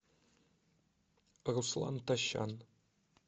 руслан тощан